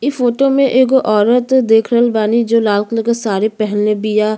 ई फोटो एगो औरत देख रहल बानी जो लाल कलर क साड़ी पेहेनले बिया।